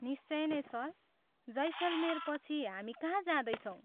निश्चय नै सर, जैसलमेरपछि हामी कहाँ जाँदैछौँ?